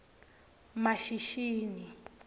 mashishini